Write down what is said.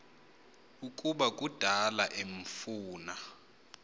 ukuba kudala emfuna